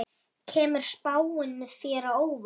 Kemur spáin þér á óvart?